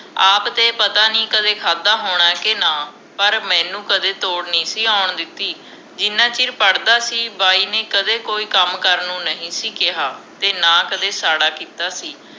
ਆਪ ਤੇ ਕਦੇ ਪਤਾ ਨਹੀਂ ਕਦੇ ਖਾਦਾ ਹੋਣਾ ਕੇ ਨਾ ਪਰ ਮੈਨੂੰ ਕਦੇ ਥੋੜ ਨਹੀਂ ਸੀ ਆਉਣ ਦਿਤੀ ਜਿਨ੍ਹਾਂ ਚਿਰ ਪੜ੍ਹਦਾ ਸੀ ਬਾਈ ਨੇ ਕਦੇ ਕੋਈ ਕੰਮ ਕਰਨ ਨੂੰ ਨਹੀਂ ਸੀ ਕਿਹਾ ਤੇ ਨਾ ਕੋਈ ਸਾੜ੍ਹਾ ਕੀਤਾ ਸੀ